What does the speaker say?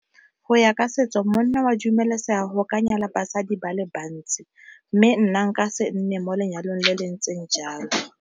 Go ya ka setso monna wa dumelesega go ka nyala basadi ba le bantsi, mme nna nka se nne mo lenyalong le le ntseng jalo.